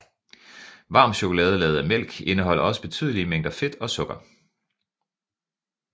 Varm chokolade lavet af mælk indeholder også betydelige mængder fedt og sukker